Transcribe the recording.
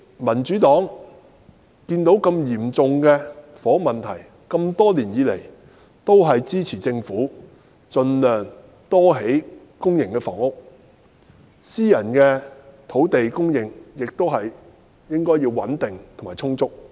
民主黨看見如此嚴重的房屋問題，因此這麼多年來，一直支持政府盡量多興建公營房屋，私人土地方面亦應有穩定及充足的供應。